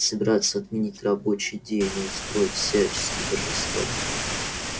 собираются отменить рабочий день и устроить всяческие торжества